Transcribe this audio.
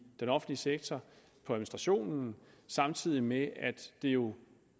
den offentlige sektor samtidig med at det jo